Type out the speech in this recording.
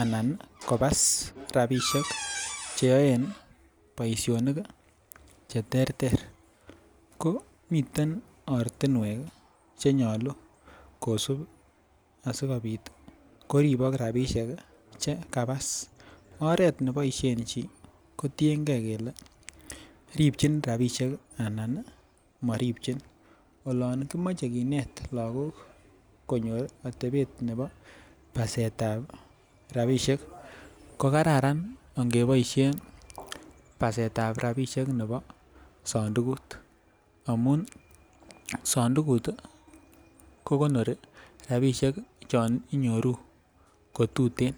anakobas rabishek cheyoe boishonik cheterter ko miten ortinwek chenyolu kosib asikopit koribok rabishek chakabas. Oret neboishen chii kotiyengee kele ripchin rabishek anan moripchine, olon kimoche kinet lokok konyor otepen nebo basetab rabishek ko kararan angeboishen basetab rabishek nebo sondukut amun sondukut tii kokonori rabishek chon inyoru kotuten